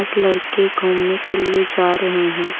कुछ लड़के घूमने के लिए जा रहे हैं।